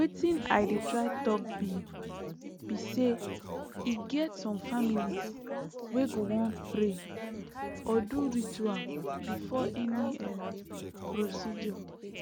wetin i dey try talk be be saye get some families wey go wan pray or do ritual before any um procedure